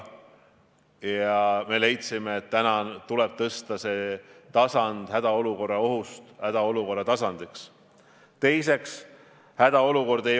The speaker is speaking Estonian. Ma ei ole arst ega teadlane, ma ei ole meditsiiniharidusega, aga selle viirusega seoses ma olen neid küsimusi uurinud.